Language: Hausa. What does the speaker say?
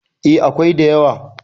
eh akwai da yawa